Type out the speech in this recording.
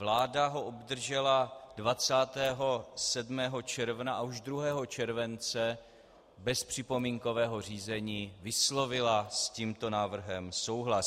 Vláda ho obdržela 27. června a už 2. července bez připomínkového řízení vyslovila s tímto návrhem souhlas.